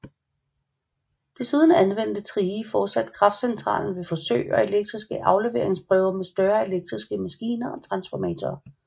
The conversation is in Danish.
Desuden anvendte Thrige fortsat kraftcentralen ved forsøg og elektriske afleveringsprøver med større elektriske maskiner og transformatorer